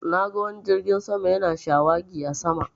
Na ga wani jirgin sama yana shawagi a sama